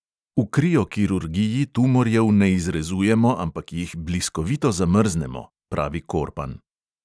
"V kriokirurgiji tumorjev ne izrezujemo, ampak jih bliskovito zamrznemo," pravi korpan.